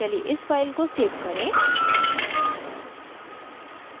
चलिए इस file को सेव करें